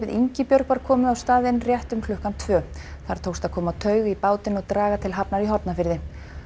Ingibjörg var komið á staðinn rétt um klukkan tvö þar tókst að koma taug í bátinn og draga til Hafnar í Hornafirði